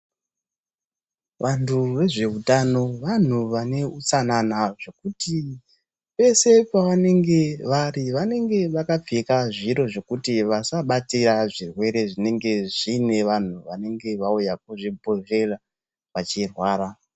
Vantu vezveutano vantu vane utsanana zvekuti peshe pavanenge vari vanenge vakapfeka zviro zvekuti vasabatire zvirwere zvinenge zviine vantu vanenge vauya kuchibhedhlera vachirwara.